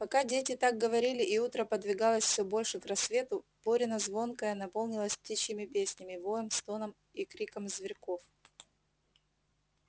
пока дети так говорили и утро подвигалось всё больше к рассвету борина звонкая наполнилась птичьими песнями воем стоном и криком зверьков